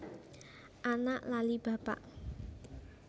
Anak lali bapak